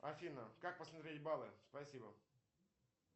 афина как посмотреть баллы спасибо